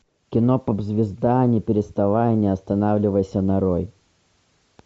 кино поп звезда не переставай не останавливайся нарой